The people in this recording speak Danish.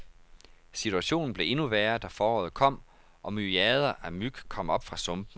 Situationen blev endnu værre, da foråret kom, og myriader af myg kom op fra sumpene.